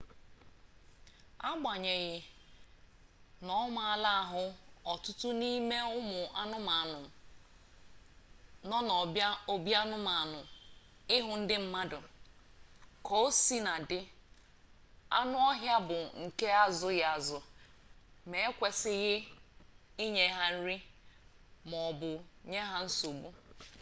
agbanyeghị na ọ maala ahụ ọtụtụ n'ime ụmụ anụmanụ nọ n'obianụmanụ ịhụ ndị mmadụ ka o sina dị anụ ọhịa bụ nke azụghịazụ ma e kwesịghị inye ha nri ma ọ bụ nye ha nsogbu